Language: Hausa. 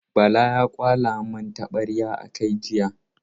Bala ya kwala mun taɓarya a kai jiya.